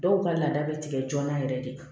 Dɔw ka laada bɛ tigɛ joona yɛrɛ de